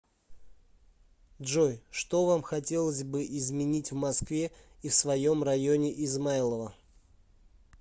джой что вам хотелось бы изменить в москве и в своем районе измайлово